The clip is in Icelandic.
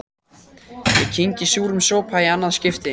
Ég kyngi súrum sopa í annað skipti.